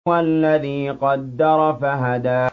وَالَّذِي قَدَّرَ فَهَدَىٰ